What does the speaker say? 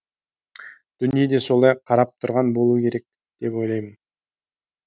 дүние де солай қарап тұрған болуы керек деп ойлаймын